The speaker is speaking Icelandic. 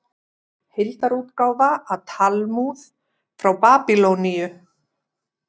Heildarútgáfa af Talmúð frá Babýloníu.